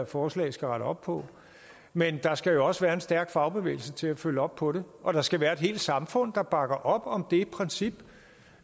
forslag skal rette op på men der skal jo også være en stærk fagbevægelse til at følge op på det og der skal være et samfund der bakker op om det princip